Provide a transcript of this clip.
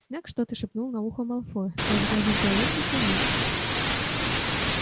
снегг что-то шепнул на ухо малфою тот с гаденькой улыбкой кивнул